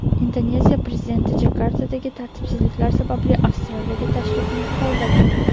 Indoneziya prezidenti Jakartadagi tartibsizliklar sababli Avstraliyaga tashrifini qoldirdi.